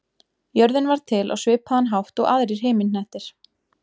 Jörðin varð til á svipaðan hátt og aðrir himinhnettir.